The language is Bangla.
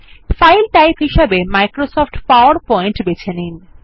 ফাইল টাইপ হিসাবে মাইক্রোসফট পাওয়ারপয়েন্ট বেছে নিন